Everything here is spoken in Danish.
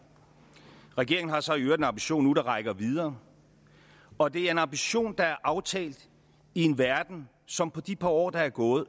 regeringen har så i øvrigt en ambition nu der rækker videre og det er en ambition der er aftalt i en verden som på det par år der er gået